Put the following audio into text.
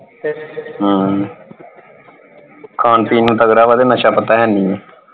ਹਮ ਖਾਣ ਪੀਣ ਨੂੰ ਤਗੜਾ ਵਾ ਤੇ ਨਸ਼ਾ ਪਤਾ ਹੈਨੀ।